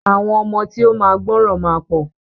Àwọn ọmọ tí o ma gbọràn ma pọ.